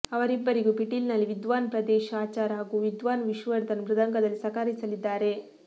ಅವರಿಬ್ಬರಿಗೂ ಪಿಟೀಲಿನಲ್ಲಿ ವಿದ್ವಾನ್ ಪ್ರಾದೇಶ್ ಆಚಾರ್ ಹಾಗೂ ವಿದ್ವಾನ್ ವಿಷ್ಣುವರ್ಧನ್ ಮೃದಂಗದಲ್ಲಿ ಸಹಕರಿಸಲಿದ್ದಾರೆ